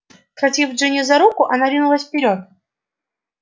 схватив джинни за руку она ринулась вперёд